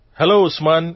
hello Usman